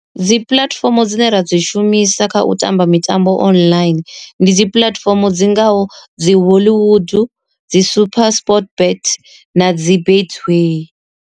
Dzi puḽatifomo dzine ra dzi shumisa kha u tamba mitambo online, ndi dzi puḽatifomo dzi ngaho dzi hollywood, dzi supersport bet, na dzi betway.